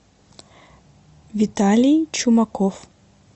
виталий чумаков